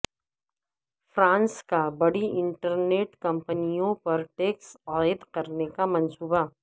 France کا بڑی internet کمپنیوں پر ٹیکس عائد کرنے کا منصوبہ